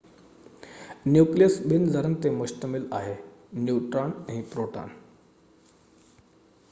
nucleus ٻن ذرن تي مشتمل آهي نيوٽران ۽ پروٽان